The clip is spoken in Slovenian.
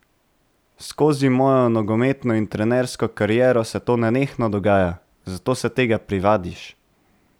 Skozi mojo nogometno in trenersko kariero se to nenehno dogaja, zato se tega privadiš.